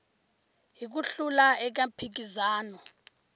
hi ku hlula eka mphikizano